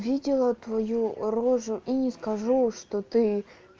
видела твою рожу и не скажу что ты